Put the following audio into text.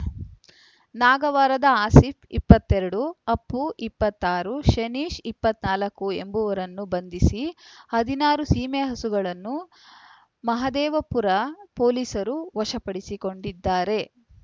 ನಾಗವಾರದ ಆಸೀಫ್ ಇಪ್ಪತ್ತೆರಡು ಅಪ್ಪು ಇಪ್ಪತ್ತಾರು ಶನೀಷ್ ಇಪ್ಪತ್ತ್ ನಾಲ್ಕು ಎಂಬುವರನ್ನು ಬಂಧಿಸಿ ಹದಿನಾರು ಸೀಮೆಹಸುಗಳನ್ನು ಮಹದೇವಪುರ ಪೊಲೀಸರು ವಶಪಡಿಸಿಕೊಂಡಿದ್ದಾರೆ